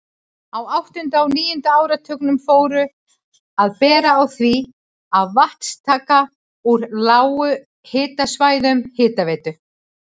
Á áttunda og níunda áratugnum fór að bera á því að vatnstaka úr lághitasvæðum Hitaveitu